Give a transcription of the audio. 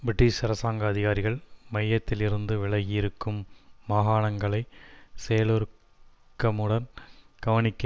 British அரசாங்க அதிகாரிகள் மையத்திலிருந்து விலகி இருக்கும் மாகாணங்களை செயலூக்கமுடன் கவனிக்க